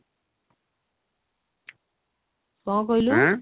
କଣ କହିଲୁ